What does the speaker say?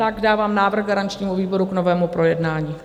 Tak dávám návrh garančnímu výboru k novému projednání.